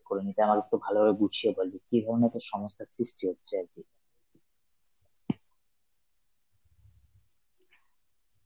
করে নিতাম, আরেকটু ভালোভাবে গুছিয়ে বলবি, কি ধরনের তোর সমস্যার সৃষ্টি হচ্ছে আর কি?